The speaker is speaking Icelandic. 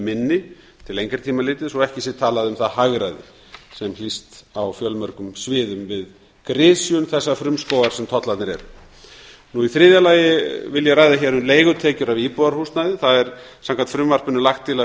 minni til lengri tíma litið svo ekki sé talað um það hagræði sem hlýst af á fjölmörgum sviðum við grisjun þessa frumskógar sem tollarnir eru í þriðja lagi vil ég ræða hér um leigutekjur af íbúðarhúsnæði það er samkvæmt frumvarpinu lagt til að